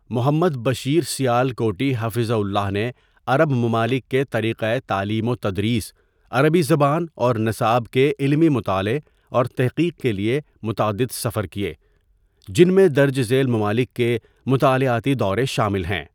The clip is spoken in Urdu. محمد بشیر سیالکوٹی حفظہ اللہ نے عرب ممالک کے طریقہ تعليم وتدریس عربی زبان اور نصاب کے علمی مطالعہ اور تحقیق کے لیے متعدد سفر کیے جن میں درج ذیل ممالک کے مطالعاتی دورے شامل ہیں.